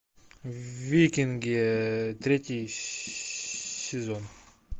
викинги третий сезон